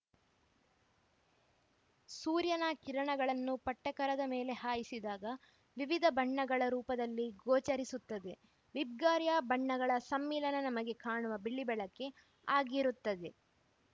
ಸೂರ್ಯನ ಕಿರಣಗಳನ್ನು ಪಟ್ಟಕರದ ಮೇಲೆ ಹಾಯಿಸಿದಾಗ ವಿವಿಧ ಬಣ್ಣಗಳ ರೂಪದಲ್ಲಿ ಗೋಚರಿಸುತ್ತದೆ ವಿಬ್ಗಯಾರ್‌ ಬಣ್ಣಗಳ ಸಮ್ಮಿಲನ ನಮಗೆ ಕಾಣುವ ಬಿಳಿ ಬೆಳಕೇ ಆಗಿರುತ್ತದೆ